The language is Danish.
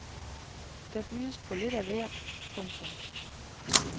Der bydes på lidt af hvert. punktum